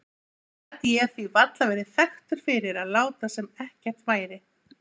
Gat ég því varla verið þekktur fyrir að láta sem ekkert væri.